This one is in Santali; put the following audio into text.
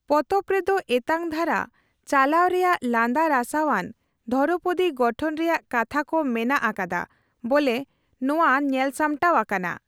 ᱯᱚᱛᱚᱵ ᱨᱮᱫᱚ ᱮᱛᱟᱝᱫᱷᱟᱨᱟ ᱪᱟᱞᱟᱣ ᱨᱮᱭᱟᱜ ᱞᱟᱸᱫᱟᱨᱟᱥᱟᱣᱟᱱ ᱫᱷᱚᱨᱚᱯᱚᱫᱤ ᱜᱚᱴᱷᱚᱱ ᱨᱮᱭᱟᱜ ᱠᱟᱛᱷᱟ ᱠᱚ ᱢᱮᱱᱟᱜ ᱟᱠᱟᱫᱟ ᱵᱚᱞᱮ ᱱᱚᱣᱟ ᱧᱮᱞᱥᱟᱢᱴᱟᱣ ᱟᱠᱟᱱᱟ ᱾